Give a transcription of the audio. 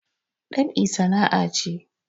Dab'i sana'a ce